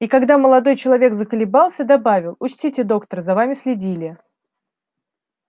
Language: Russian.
и когда молодой человек заколебался добавил учтите доктор за вами следили